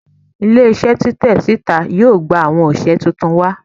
Ile-iṣẹ titẹ sita yoo gba awọn oṣiṣẹ tuntun